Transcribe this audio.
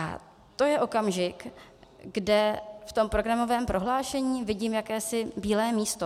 A to je okamžik, kde v tom programovém prohlášení vidím jakési bílé místo.